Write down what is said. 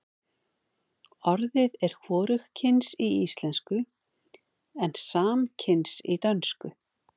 orðið er hvorugkyns í íslensku en samkyns í dönsku